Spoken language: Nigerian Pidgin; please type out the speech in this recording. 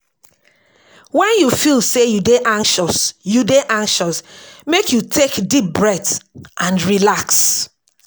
Wen you feel sey you dey anxious, you dey anxious, make you take deep breath and relax.